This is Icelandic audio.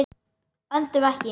Öndum ekki.